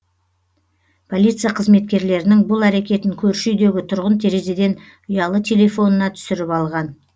полиция қызметкерлерінің бұл әрекетін көрші үйдегі тұрғын терезеден ұялы телефонына түсіріп алған